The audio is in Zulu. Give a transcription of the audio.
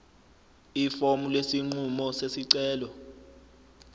ifomu lesinqumo sesicelo